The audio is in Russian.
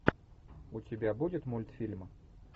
у тебя будет мультфильм